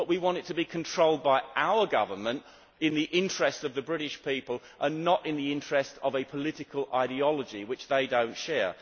But we want this to be controlled by our government in the interests of the British people, and not in the interests of a political ideology which they do not share.